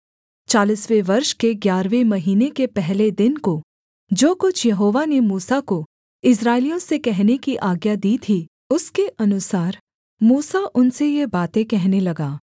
चालीसवें वर्ष के ग्यारहवें महीने के पहले दिन को जो कुछ यहोवा ने मूसा को इस्राएलियों से कहने की आज्ञा दी थी उसके अनुसार मूसा उनसे ये बातें कहने लगा